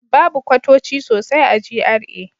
Babu kwatoci sosai a GRA.